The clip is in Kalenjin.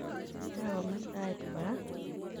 Kakome tait kora?